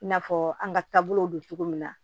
I n'a fɔ an ka taabolow don cogo min na